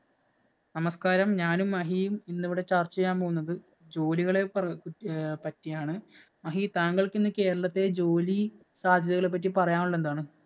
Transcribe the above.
നമസ്കാരം, ഞാനും, മഹിയും ഇന്നിവിടെ ചര്‍ച്ച ചെയ്യാന്‍ പോകുന്നത് ജോലികളെ പര്പറ്റിയാണ്. മഹീ, താങ്കള്‍ക്ക് ഇന്ന് ഈ കേരളത്തിലെ ജോലി സാധ്യതകളെ പറ്റി പറയാനുള്ളത് എന്താണ്?